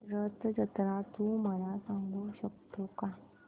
रथ जत्रा तू मला सांगू शकतो का